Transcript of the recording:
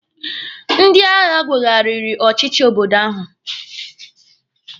Ndị agha weghariri ọchịchị obodo ahụ.